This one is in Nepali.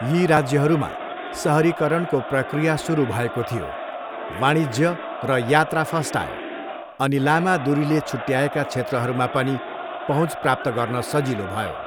यी राज्यहरूमा सहरीकरणको प्रक्रिया सुरु भएको थियो, वाणिज्य र यात्रा फस्टायो अनि लामा दुरीले छुट्याएका क्षेत्रहरूमा पनि पहुँचप्राप्त गर्न सजिलो भयो।